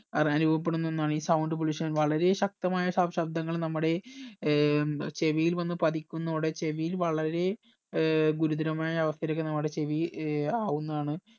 അനുഭവപ്പെടുന്ന ഒന്നാണ് ഈ sound pollution വളരെ ശകത്മായ ശബ് ശബ്ദങ്ങൾ നമ്മുടെ ഏർ ചെവിയിൽ വന്ന് പതിക്കുന്നോടെ ചെവിയിൽ വളരെ ഏർ ഗുരുതരമായ അവസ്ഥയിലേക്ക് നമ്മുടെ ചെവി ഏർ ആവുന്നതാണ്